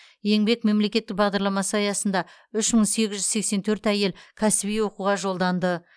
еңбек мемлекеттік бағдардамасы аясында үш мың сегіз жүз сексен төрт әйел кәсіби оқуға жолданды